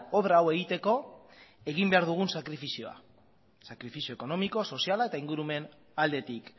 obra hau egiteko egin behar dugun sakrifizioa sakrifizio ekonomiko soziala eta ingurumen aldetik